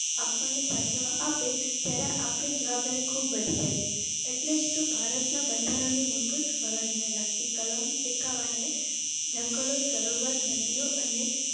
આપણને સાચવવા આપે ત્યારે આપની જવાબદારી ખૂબ વધી જાય. Atleast ભારતના બંધારણની મૂળભુત ફરજોને લગતી કલમ એકાવન A જંગલો, સરોવર, નદિયો અને